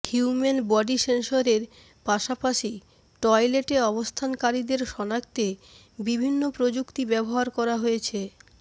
human body সেন্সরের পাশাপাশি টয়লেটে অবস্থানকারীদের শনাক্তে বিভিন্ন প্রযুক্তি ব্যবহার করা হয়েছে